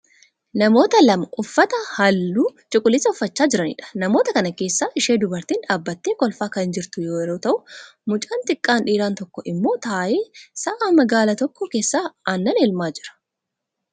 Namoota lama uffata halluu cuquliisaa uffachaa jiraniidha. Namoota kana keessaa ishee dubartiin dhaabbattee kolfaa kan jirtu yeroo ta'u mucaan xiqqaan dhiiraa tokko immoo taa'ee sa'a magaala tokko keessaa aannan elmaa jira.